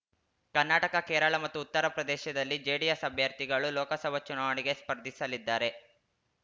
ಕರ್ನಾಟಕ ಕೇರಳ ಮತ್ತು ಉತ್ತರ ಪ್ರದೇಶದಲ್ಲಿ ಜೆಡಿಎಸ್‌ ಅಭ್ಯರ್ಥಿಗಳು ಲೋಕಸಭಾ ಚುನಾವಣೆಗೆ ಸ್ಪರ್ಧಿಸಲಿದ್ದಾರೆ